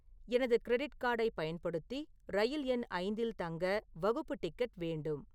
எனது கிரெடிட் கார்டைப் பயன்படுத்தி ரயில் எண் ஐந்தில் தங்க வகுப்பு டிக்கெட் வேண்டும்